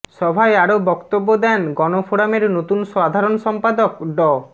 সভায় আরো বক্তব্য দেন গণফোরামের নতুন সাধারণ সম্পাদক ড